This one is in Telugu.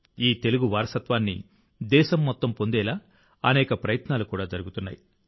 ఈ తెలుగు వారసత్వాన్ని దేశం మొత్తం పొందేలా అనేక ప్రయత్నాలు కూడా జరుగుతున్నాయి